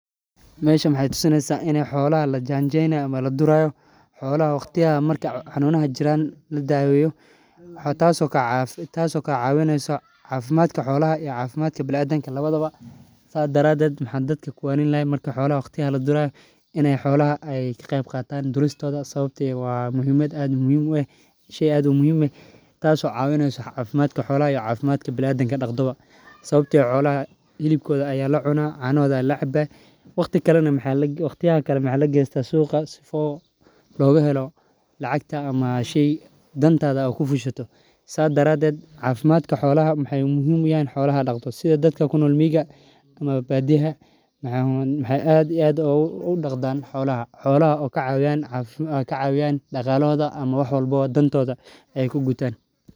Meshan maxee tusi neysa in xolaha xolaha lajan jeyni hayo ama laduri hayo sas daraded maxan dadka ushegi laha marku xolaha ladurayo ka qeb gala maxaa xayele maxee cafimaad ogu jiran cafimadkodha zola lacag ayey ka helayan dadka rer badiyaha ah marki ee xolaha sifican u dawestan xolaha waa in cafmadkodha laga taloya.